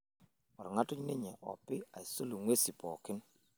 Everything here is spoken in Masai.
olg'atuny ninye opi aisul inguesin pooki